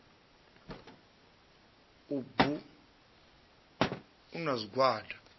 u bu a na zwigwada